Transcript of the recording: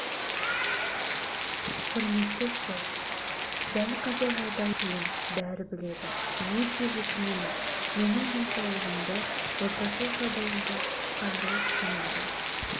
құрметті сот дәл қазір жағдайым қиын бәрі біледі өте өкінемін менің денсаулығымды отбасылық жағдайымды қаржылық күйімді